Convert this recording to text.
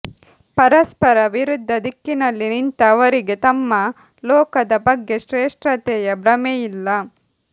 ಪರಸ್ಪರ ವಿರುದ್ಧ ದಿಕ್ಕಿನಲ್ಲಿ ನಿಂತ ಅವರಿಗೆ ತಮ್ಮ ತಮ್ಮ ಲೋಕದ ಬಗ್ಗೆ ಶ್ರೇ಼ಷ್ಠತೆಯ ಭ್ರಮೆಯಿಲ್ಲ